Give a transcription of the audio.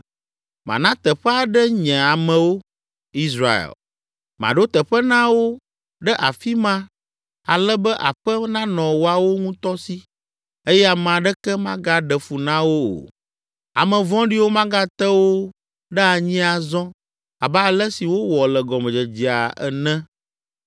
Mana teƒe aɖe nye amewo, Israel. Maɖo teƒe na wo ɖe afi ma ale be aƒe nanɔ woawo ŋutɔ si eye ame aɖeke magaɖe fu na wo o. Ame vɔ̃ɖiwo magate wo ɖe anyi azɔ abe ale si wowɔ le gɔmedzedzea ene